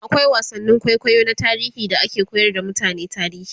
akwai wasannin kwaikwayo na tarihi da ake koyar da mutane tarihi